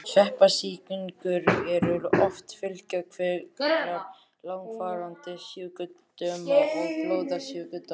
Sveppasýkingar eru oft fylgikvillar langvarandi sjúkdóma og blóðsjúkdóma.